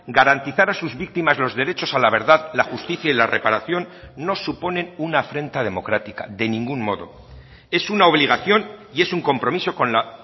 garantizar a sus víctimas los derechos a la verdad la justicia y la reparación no suponen una afrenta democrática de ningún modo es una obligación y es un compromiso con la